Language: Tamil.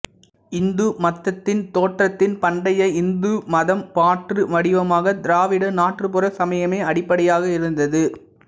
இந்து மத்ததின் தோற்றத்தின் பண்டைய இந்து மதம் மாற்று வடிவமாக திராவிட நாட்டுப்புற சமயமே அடிப்படையாக இருந்தது